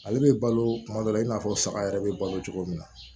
Ale bɛ balo tuma dɔ la i n'a fɔ saga yɛrɛ bɛ balo cogo min na